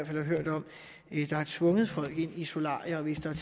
hørt der har tvunget folk ind i solarier og hvis der